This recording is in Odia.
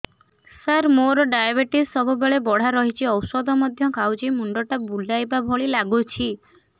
ସାର ମୋର ଡାଏବେଟିସ ସବୁବେଳ ବଢ଼ା ରହୁଛି ଔଷଧ ମଧ୍ୟ ଖାଉଛି ମୁଣ୍ଡ ଟା ବୁଲାଇବା ଭଳି ଲାଗୁଛି